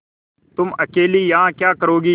तुम अकेली यहाँ क्या करोगी